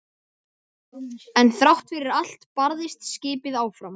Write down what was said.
En þrátt fyrir allt barðist skipið áfram.